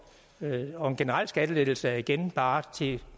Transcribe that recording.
og en generel skattelettelse er igen bare til